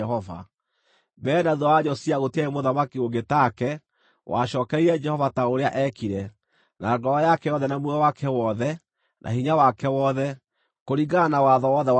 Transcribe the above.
Mbere na thuutha wa Josia gũtiarĩ mũthamaki ũngĩ take, wacookereire Jehova ta ũrĩa eekire: na ngoro yake yothe na muoyo wake wothe, na hinya wake wothe, kũringana na watho wothe wa Musa.